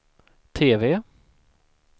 TV